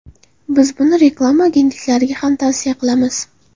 Biz buni reklama agentliklariga ham tavsiya etamiz.